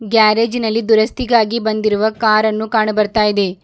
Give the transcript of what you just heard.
ಗ್ಯಾರೇಜಿನಲ್ಲಿ ದುರಸ್ತಿಗಾಗಿ ಬಂದಿರುವ ಕಾರನ್ನು ಕಾಣು ಬರ್ತಾ ಇದೆ.